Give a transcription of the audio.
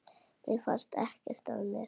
Mér fannst ekkert að mér.